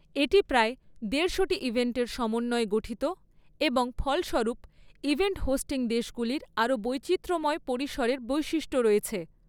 এটি প্রায় দেড়শোটি ইভেন্টের সমন্বয়ে গঠিত এবং ফলস্বরূপ, ইভেন্ট হোস্টিং দেশগুলির আরও বৈচিত্র্যময় পরিসরের বৈশিষ্ট্য রয়েছে ৷